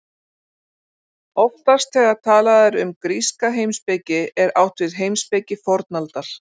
oftast þegar talað er um gríska heimspeki er átt við heimspeki fornaldar